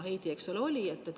Heidi, eks ole, oli.